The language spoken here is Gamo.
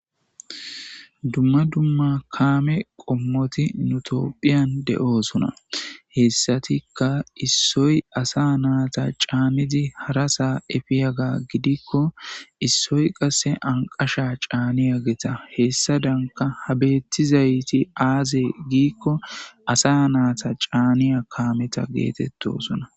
dumma dumma kaame qommoti nutopphiyan de7osona hessatikka issoy asa naata caanidi harasa efiyaga gidikko issoy qasse anqasha caaniya geeta hessa danka habettizayti aaze giikko asa naata caaniya kaameta geetettosuna